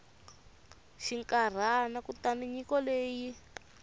xinkarhana kutani nyiko leyi yi